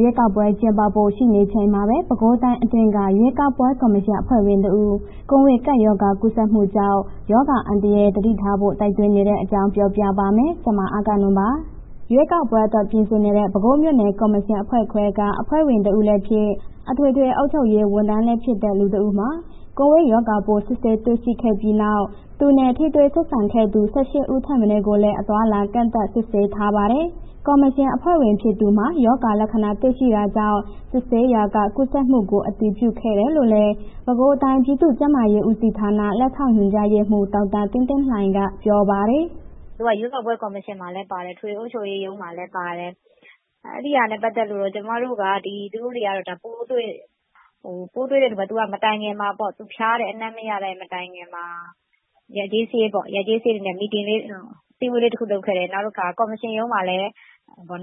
ရွေးကောက်ပွဲ ကျင်းပဖို့ ရှိနေချိန်မှာပဲ ပဲခူးတိုင်းအတွင်းက ရွေးကောက်ပွဲ ကော်မရှင်အဖွဲ့ဝင်တဦး ကိုဗစ်ကပ်ရောဂါ ကူးစက်မှုကြောင့် ကပ်ရောဂါအန္တရာယ် သတိထားဖို့ တိုက်တွန်းနေတဲ့အကြောင်းကို ဗွီအိုအေမြန်မာပိုင်း သတင်းထောက် မအဂ္ဂနွန်က ပြောပြပါမယ်။ ရွေးကောက်ပွဲအတွက် ပြင်ဆင်နေတဲ့ ပဲခူးမြို့နယ်ကော်မရှင်အဖွဲ့ခွဲက အဖွဲ့ဝင် တဦးလည်းဖြစ်၊ အထွေထွေအုပ်ချုပ်ရေး ဝန်ထမ်းလည်းဖြစ်တဲ့ လူ ၁ ယောက်မှာ ကိုဗစ်ရောဂါပိုး စစ်ဆေးတွေ့ရှိခဲ့ပြီးနောက် သူနဲ့ ထိတွေ့ဆက်ဆံခဲ့သူ ၁၈ ဦးထက် မနည်းကိုလည်း အသွားအလာ ကန့်သတ် စစ်ဆေးထားပါတယ်။ ကော်မရှင်အဖွဲ့ဝင် ဖြစ်သူမှာ ရောဂါလက္ခဏာတွေ့ရှိတာကြောင့် စစ်ဆေးရာက ကူးစက်မှုကို အတည်ပြုခဲ့တာလို့လည်း ပဲခူးတိုင်း ပြည်သူ့ကျန်းမာရေးဦးစီးဌာန လက်ထောက်ညွှန်ကြားရေးမှူး ဒေါက်တာသင်းသင်းလှိုင်က ပြောပါတယ်။ “သူက ရွေးကောက်ပွဲကော်မရှင်မှာလည်း ပါတယ်။ အထွေထွေအုပ်ချုပ်ရေးရုံးမှာလည်း ပါတယ်။ အဲ့ဒီဟာနဲ့ ပတ်သက်ပြီး သူတို့တွေက ပိုးတွေ့၊ ပိုးတွေ့တဲ့လူက မတိုင်ခင်မှာပေါ့ သူဖျားတယ်။ အနံ့မရတဲ့ မတိုင်ခင်မှာ ရပ်ကျေး စာရေးပေါ့ အစည်းအဝေးတစ်ခု လုပ်ခဲ့တယ်။ နောက်တစ်ခါ ကော်မရှင်ရုံးမှာလည်း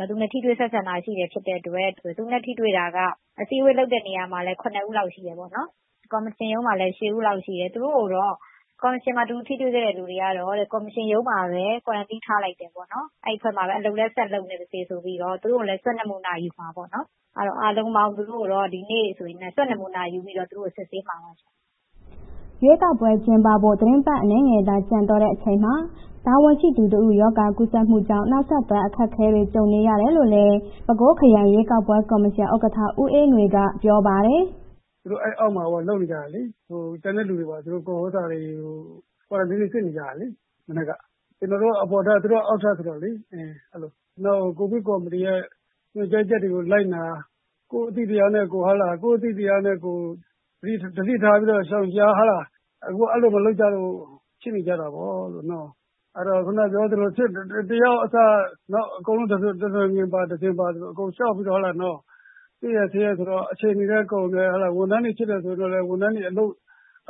သူနဲ့ ထိတွေ့ဆက်ဆံတာ ရှိတာဖြစ်တဲ့အတွက် အစည်းအဝေးလုပ်တဲ့ နေရာလည်း ၇ ယောက်လောက်ရှိတယ်။ ကော်မရှင်ရုံးလည်း ၈ ယောက်လောက်ရှိတယ်။ သူတို့ကိုတော့ ကော်မရှင်မှာ သူ ထိတွေ့ခဲ့တဲ့ လူတွေကတော့ ကော်မရှင်ရုံးမှာပဲ ကွာရန်တင်းထားလိုက်တယ်ပေါ့နော်၊ အဲ့အဖွဲ့မှာပဲ အလုပ်လည်း ဆက်လုပ်နေပါစေဆိုပြီးတော့ သူတို့ကိုလည်း Swab နမူနာယူမှာပေ့ါနော်။ အားလုံးပေါင်း သူတို့ကိုတော့ ဒီနေ့ Swab ဆိုရင် နမူနာယူပြီးတော့ သူတို့ကို စစ်ဆေးမှာပါရှင်။” ရွေးကောက်ပွဲ ကျင်းပဖို့ သီတင်းပတ် အနည်းငယ်သာ ကျန်တော့တဲ့အချိန်မှာ တာဝန်ရှိသူတဦး ရောဂါကူးစက်မှုကြောင့် နောက်ဆက်တွဲ အခက်အခဲတွေ ကြုံနေရတယ်လို့လည်း ပဲခူးခရိုင် ရွေးကောက်ပွဲကော်မရှင် ဥက္ကဋ္ဌ ဦးအေးငွေက ပြောပါတယ်။ “သူတို့ အဲ့အောက်မှာ လုပ်နေကြတယ်လေ။ ကျန်တဲ့လူတွေ ကွာရန်တင်းတွေ စစ်နေကြတယ်လေ.. မနက်က။ ကျနော်တို့ အပေါ်ထပ်သူတို့ အောက်ထပ်ဆိုတော့လေ။ နောက် ကိုဗစ်ကော်မတီရဲ့ ညွန်ကြားချက်တွေ လိုက်နာ ကိုယ်အသိတရားနဲ့ ကိုယ် ရှောင်ရှား။ အခု အဲ့ဒီလို မလုပ်ကြလို့ဖြစ်နေကြတာပေါ့၊ အဲ့ဒီတော့ ခုဏပြောသလို တစ်ယောက်အစ နောက်အကုန်လုံး တနွယ်ငင် တစင်ပါဆိုသလို အကုန်လျှောက်ပြီးတော့ တွေ့ရ စစ်ရဆိုတော့ အချိန်တွေလည်း ကုန်တယ်။ ဝန်ထမ်းဖြစ်တယ်ဆိုရင်တော့ ဝန်ထမ်းတွေ အ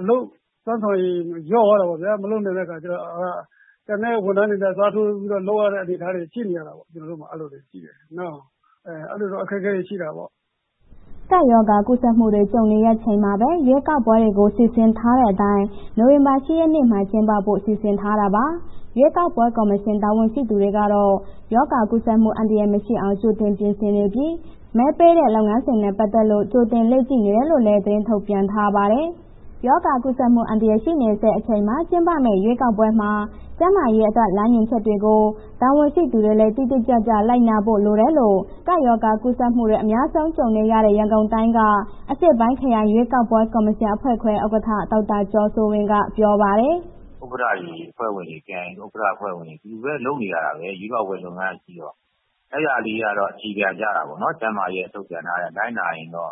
လုပ်စွမ်းဆောင်ရည် လျော့သွားတာပေါ့ဗျာ။ မလုပ်နိုင်တဲ့အခါ ကျတော့ ကျန်တဲ့ ဝန်ထမ်းတွေနဲ့ အစားထိုးလုပ်ရတဲ့ အနေအထားတွေရှိနေတာပေါ့... ကျနော်တို့မှာ အဲ့ဒီလိုတွေရှိတယ်။ အဲဒီလိုတော့ အခက်အခဲတွေရှိတယ်ပေါ့။” ကပ်ရောဂါကူးစက်မှုတွေ ကြုံနေရချိန်မှာပဲ ရွေးကောက်ပွဲတွေကို စီစဉ်ထားတဲ့အတိုင်း နိုဝင်ဘာလ ၈ ရက်နေ့မှာ ကျင်းပဖို့ စီစဉ်ထားတာပါ။ ရွေးကောက်ပွဲ ကော်မရှင် တာဝန်ရှိသူတွေကတော့ ရောဂါကူးစက်မှု အန္တရာယ်မရှိအောင် ကြိုတင်ပြင်ဆင်နေပြီး မဲပေးတဲ့ လုပ်ငန်းစဉ်နဲ့ ပတ်သက်လို့ ကြိုတင်လေ့ကျင့်နေတယ်လို့လည်း သတင်းထုတ်ပြန်ထားပါတယ်။ ရောဂါကူးစက်မှု အန္တရာယ် ရှိနေဆဲ အချိန်မှာ ကျင်းပမယ့် ရွေးကောက်ပွဲမှာ ကျန်းမာရေးအတွက် လမ်းညွှန်ချက်တွေကို တာဝန်ရှိသူတွေလည်း တိတိကျကျ လိုက်နာဖို့ လိုတယ်လို့ ကပ်ရောဂါ ကူးစက်မှုတွေ အများဆုံး ကြုံနေရတဲ့ ရန်ကုန်တိုင်းက အရှေ့ပိုင်းခရိုင် ရွေးကောက်ပွဲ ကော်မရှင်အဖွဲ့ခွဲ ဥက္ကဋ္ဌ ဒေါက်တာကျော်စိုးဝင်းက ပြောပါတယ်။ “ဥက္ကဋ္ဌတွေ အဖွဲ့ဝင်တွေ ခရိုင်ဥက္ကဋ္ဌ အဖွဲ့ဝင်တွေ တူတူပဲ လုပ်နေရတာပဲ ရွေးကောက်ပွဲလုပ်ငန်းကရှိတော့ အဲ့ဒါလေးကတော့ အခြေခံကျတာပေါ့နော်။ ကျန်းမာရေးထုတ်ပြန်ထားတဲ့အတိုင် လိုက်နာရင်တော့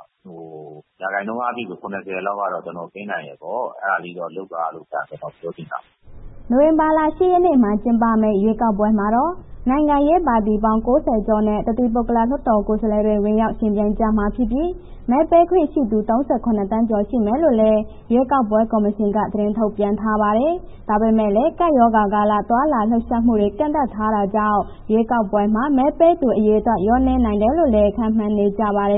ရာခိုင်နှုန်းအားဖြင့်ကတော့ ၇၀ လောက်ကတော့ ကင်းနိုင်တယ်ပေါ့၊ အဲ့ဒါလေးတော့ လုပ်ပါလို့ ကျနော်ပြောချင်တာပေါ့။” နိုဝင်ဘာလ ၈ ရက်နေ့မှာ ကျင်းပမယ့် ရွေးကောက်ပွဲမှာတော့ နိုင်ငံရေးပါတီပေါင်း ၉၀ ကျော်နဲ့ တသီးပုဂ္ဂလ လွှတ်တော်ကိုယ်စားလှယ်တွေ ဝင်ရောက်ယှဉ်ပြိုင်ကြမှာဖြစ်ပြီး မဲပေးခွင့်ရှိသူ ၃၇ သန်းကျော် ရှိမယ်လို့လည်း ရွေးကောက်ပွဲ ကော်မရှင်က သတင်းထုတ်ပြန်ထားပါတယ်။ ဒါပေမဲ့လည်း ကပ်ရောဂါကာလ သွားလာလှုပ်ရှားမှုတွေ ကန့်သတ်ထားတာကြောင့် ရွေးကောက်ပွဲမှာ မဲပေးသူအရေအတွက် လျော့နည်းနိုင်တယ်လို့လည်း ခန့်မှန်းနေကြပါတယ်။